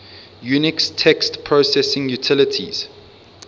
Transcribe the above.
unix text processing utilities